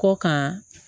Kɔ kan